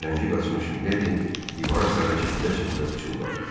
Rəngi qaçmış Miledi divara sarı çəkilə-çəkilə pıçıldadı.